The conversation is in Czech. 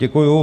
Děkuji.